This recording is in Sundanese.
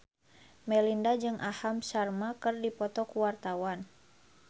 Melinda jeung Aham Sharma keur dipoto ku wartawan